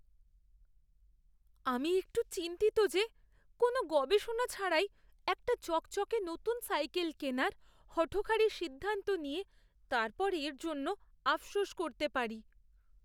আমি একটু চিন্তিত যে কোনও গবেষণা ছাড়াই একটা চকচকে নতুন সাইকেল কেনার হঠকারি সিদ্ধান্ত নিয়ে তারপর এর জন্য আফসোস করতে পারি।